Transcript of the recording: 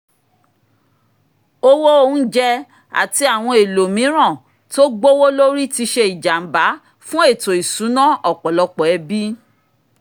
owó oúnjẹ àti àwọn ohun èlò mìíràn tó gbówó lórí tí ṣe ìjàmbá fún ètò ìṣúná ọ̀pọ̀lọpọ̀ ẹbí